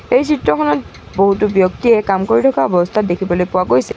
এই চিত্ৰখনত বহুতো ব্যক্তিয়ে কাম কৰি থকা অৱস্থাত দেখিবলৈ পোৱা গৈছে।